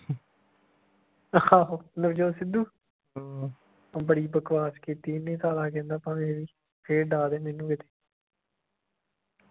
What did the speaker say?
ਆਹੋ ਨਵਜੋਤ ਸਿੱਧੂ ਲੈ ਬੜੀ ਬਕਵਾਸ ਕੀਤੀ ਇਹਨੇ ਸਾਲਾ ਕਹਿੰਦਾ ਭਾਵੇਂ ਫੇਰ ਡਾਅ ਦੇਣ ਮੈਨੂੰ ਵਿਚ